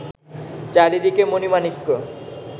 চারিদিকে মণি-মাণিক্য